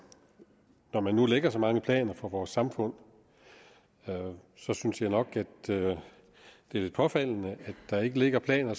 og når man nu lægger så mange planer for vores samfund så synes jeg nok at det er lidt påfaldende at der ikke ligger planer